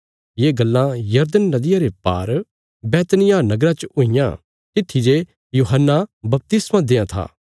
ये गल्लां यरदन नदिया रे पार बैतनिय्याह नगरा च हुईयां तित्थी जे यूहन्ना बपतिस्मा देआं था